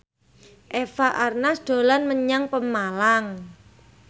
Eva Arnaz dolan menyang Pemalang